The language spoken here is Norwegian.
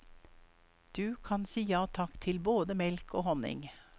Du kan si ja takk til både melk og honning.